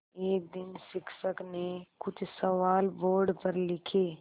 एक दिन शिक्षक ने कुछ सवाल बोर्ड पर लिखे